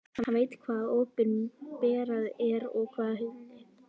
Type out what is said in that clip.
Hann veit hvað opinberað er og hvað hulið.